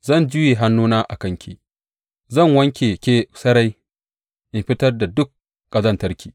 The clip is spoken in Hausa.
Zan juye hannuna a kanki; zan wanke ke sarai in fitar da dukan ƙazantarki.